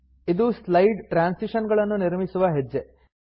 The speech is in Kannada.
ಇದು ಸ್ಲೈಡ್ ಟ್ರಾನ್ಸಿಶನ್ ಗಳನ್ನು ನಿರ್ಮಿಸುವ ಹೆಜ್ಜೆ